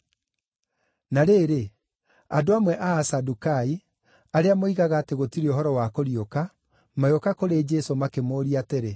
Na rĩrĩ, andũ amwe a Asadukai, arĩa moigaga atĩ gũtirĩ ũhoro wa kũriũka, magĩũka kũrĩ Jesũ, makĩmũũria atĩrĩ,